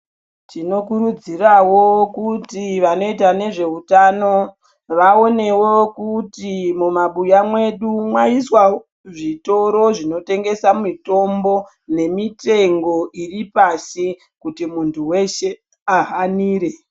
Tinokurudzirwawo kuti vanoita nezvehutano vaonewo kuti mumabuya Mwedu maiswawo zvitoro zvinotengesa mitombo nemitengo asi kuti muntu weshe ahanire.